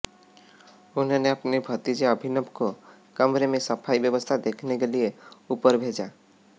उन्होंने अपने भतीजे अभिनव को कमरे में सफाई व्यवस्था देखने के लिये ऊपर भेजा